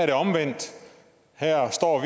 det omvendt her står